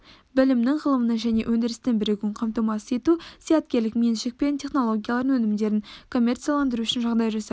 білімнің ғылымның және өндірістің бірігуін қамтамасыз ету зияткерлік меншік пен технологиялардың өнімдерін коммерцияландыру үшін жағдай жасау